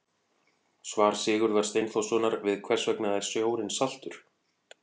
Svar Sigurðar Steinþórssonar við Hvers vegna er sjórinn saltur?